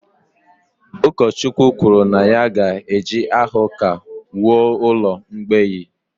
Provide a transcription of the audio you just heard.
Ụkọchukwu kwuru na ya ga-eji aha ụka wuo ụlọ mgbei